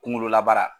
Kunkololabaara